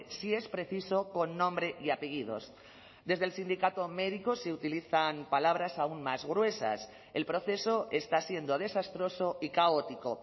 si es preciso con nombre y apellidos desde el sindicato médico se utilizan palabras aún más gruesas el proceso está siendo desastroso y caótico